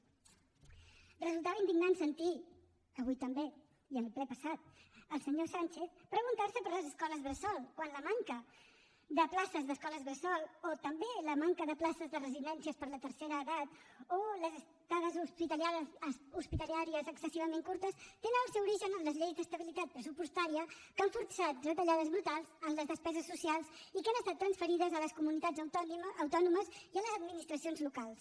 resultava indignant sentir avui també i en el ple passat al senyor sánchez preguntar se per les escoles bressol quan la manca de places d’escoles bressol o també la manca de places de residències per a la tercera edat o les estades hospitalàries excessivament curtes tenen el seu origen en les lleis d’estabilitat pressupostària que han forçat retallades brutals en les despeses socials i que han estat transferides a les comunitats autònomes i a les administracions locals